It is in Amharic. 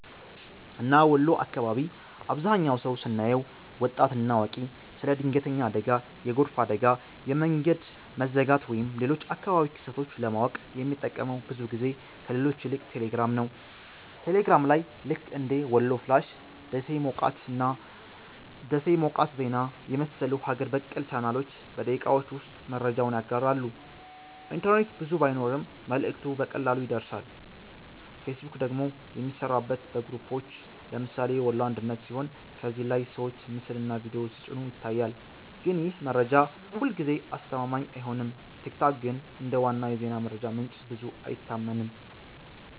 እና ወሎ አካባቢ አብዛህኛው ሰው ስናየው( ወጣት እና አዋቂ) ስለ ድንገተኛ አደጋ፣ የጎርፍ አደጋ፣ የመንገድ መዘጋት ወይም ሌሎች አካባቢያዊ ክስተቶች ለማወቅ የሚጠቀመው ብዙ ጊዜ ከሌሎች ይልቅ ቴሌግራም ነው። ቴሌግራም ላይ ልክ እንደ "ወሎ ፍላሽ''፣ “ደሴ ሞቃት ዜና” የመሰሉ ሀገር በቀል ቻናሎች በደቂቃዎች ውስጥ መረጃውን ያጋራሉ፤ ኢንተርኔት ብዙ ባይኖርም መልእክቱ በቀላሉ ይደርሳል። ፌስቡክ ደግሞ የሚሠራበት በግሩፖች (ለምሳሌ “ወሎ አንድነት”) ሲሆን ከዚያ ላይ ሰዎች ምስልና ቪዲዮ ሲጭኑ ይታያል፣ ግን ይህ መረጃ ሁልጊዜ አስተማማኝ አይሆንም። ቲክቶክ ግን እንደ ዋና የዜና መረጃ ምንጭ ብዙ አይታመንም።